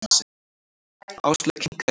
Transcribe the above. Áslaug kinkaði kolli.